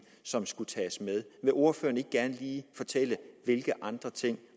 som skulle tages med vil ordføreren ikke gerne lige fortælle hvilke andre ting